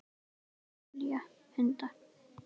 Amelía: Hundar.